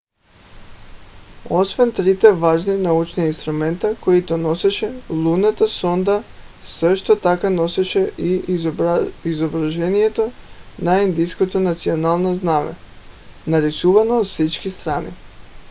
освен трите важни научни инструмента които носеше лунната сонда също така носеше и изображението на индийското национално знаме нарисувано от всички страни